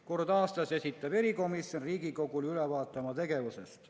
Kord aastas esitab erikomisjon Riigikogule ülevaate oma tegevusest.